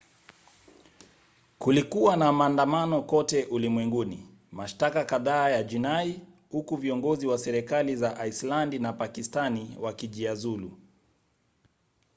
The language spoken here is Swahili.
kulikuwa na maandamano kote ulimwenguni mashtaka kadhaa ya jinai huku viongozi wa serikali za aislandi na pakistani wakijiuzulu